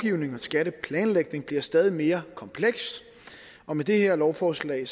skatteplanlægning bliver stadig mere kompleks og med det her lovforslag